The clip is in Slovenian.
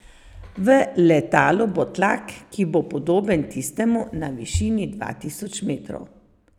V letalu bo tlak, ki bo podoben tistemu na višini dva tisoč metrov.